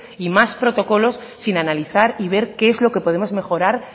y más protocolos sin analizar y ver qué es lo que podemos mejorar